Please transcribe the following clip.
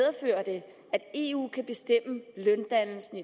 at eu kan bestemme løndannelsen